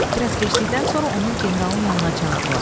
Bir az keçdikdən sonra onu generalın yanına çağırdılar.